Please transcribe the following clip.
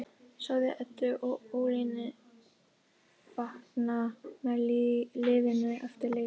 Sjáðu Eddu og Ólínu fagna með liðinu eftir leik